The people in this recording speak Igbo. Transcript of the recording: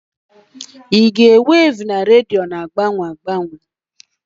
Ìgwè weevu rediyo na-agbanwe agbanwe